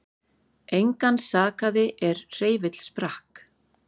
Engan sakaði er hreyfill sprakk